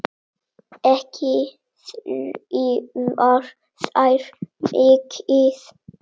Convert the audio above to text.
Ekki þrífa þær mikið.